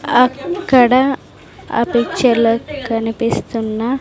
అక్కడ ఆ పిక్చర్లో కనిపిస్తున్న.